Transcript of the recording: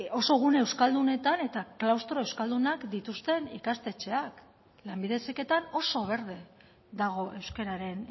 oso gune euskaldunetan eta klaustro euskaldunak dituzten ikastetxeak lanbide heziketan oso berde dago euskararen